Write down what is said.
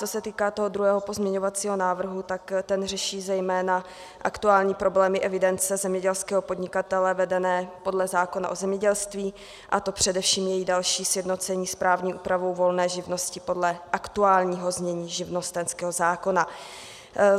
Co se týká toho druhého pozměňovacího návrhu, tak ten řeší zejména aktuální problémy evidence zemědělského podnikatele vedené podle zákona o zemědělství, a to především její další sjednocení s právní úpravou volné živnosti podle aktuálního znění živnostenského zákona.